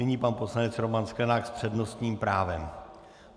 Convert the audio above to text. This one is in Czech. Nyní pan poslanec Roman Sklenák s přednostním právem.